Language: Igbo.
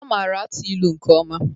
Ọ mara atụ ilu nke ọma.